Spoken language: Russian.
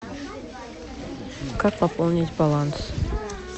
как пополнить баланс